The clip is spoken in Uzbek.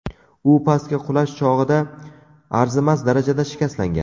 U pastga qulash chog‘ida arzimas darajada shikastlangan.